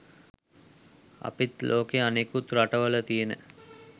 අපිත් ලෝකේ අනෙකුත් රටවල තියෙන